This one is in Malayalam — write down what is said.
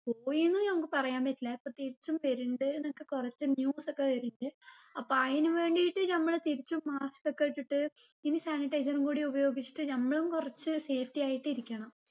പോയിന്നും നമ്മുക്ക് പറയാൻ പറ്റില്ല ഇപ്പൊ തിരിച്ചും വരുണ്ട് ന്നൊക്കെ കുറച്ച് news ഒക്കെ വരിണ്ട് അപ്പൊ അയിന് വേണ്ടിട്ട് നമ്മള് തിരിച്ചും mask ഒക്കെ ഇട്ടിട്ട് ഇനി sanitizer ഉം കൂടി ഉപയോഗിച്ചിട്ട് നമ്മളും കുറച്ച് safety ആയിട്ട് ഇരിക്കണം